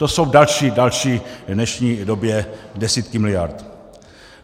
To jsou další v dnešní době desítky miliard.